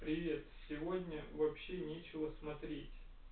привет сегодня вообще нечего смотреть